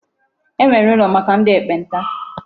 E nwere ụlọ maka ndị ekpenta.